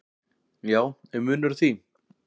"""Já, er munur á því?"""